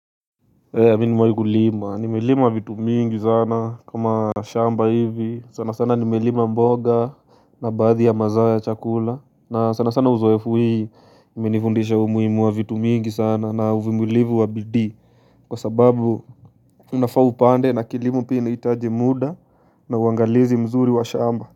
Mwagulima nimelimwa vitu mingi sana kama shamba hivi sana sana nimelimwa mboga na badhi ya mazawa ya chakula na sana sana uzwefu hii imenifundisha umuimu wa vitu mingi sana na uvimulivu wa bidi. Kwa sababu unafaa upande na kilimo pia inahitaji muda na uangalizi mzuri wa shamba.